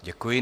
Děkuji.